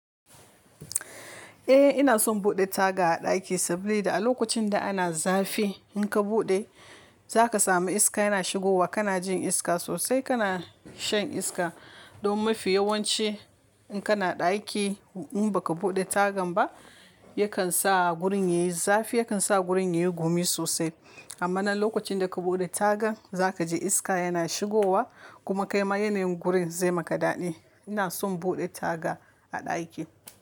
Eh ina son buɗe taga a ɗaki sabida a lokacin da ana zafi in ka buɗe za ka samu iska yana shigowa ka na jin iska sosai ka na shan iska. Don mafi yawanci in kana ɗaki in baka buɗe tagan ba yakan sa gurin yayi zafi yakan sa gurin yayi gumi sosai. Amma na lokacin daka buɗe tagan zakaji iska yana shigowa kuma kaima yanayin gurin zai maka daɗi ina son buɗe taga a ɗaki.